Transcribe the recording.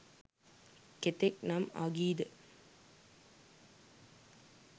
කෙතෙක් නම් අගී ද?